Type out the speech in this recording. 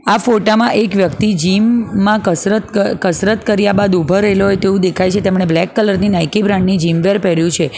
આ ફોટા માં એક વ્યક્તિ જીમ માં કસરત ક કસરત કર્યા બાદ ઊભો રઇલો હોય તેવુ દેખાય છે તેમને બ્લેક કલર ની નાઇકી બ્રાન્ડ ની જીમ વેર પેર્યું છે.